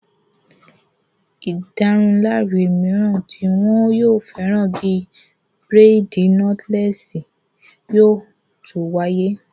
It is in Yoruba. Ìdárunlárà mìíràn tí wọn yóò fẹ́ràn bíi bírèèdì nọ́tílẹ́ẹ̀sì yóò tó wáyé